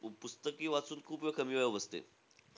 पुस्तकी वाचून खूप वेळा कमी वेळा बसते.